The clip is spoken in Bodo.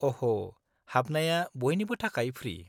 -अह', हाबनाया बयनिबो थाखाय फ्रि।